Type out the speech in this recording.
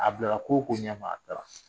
A bila la ko ko ɲɛ ma a taara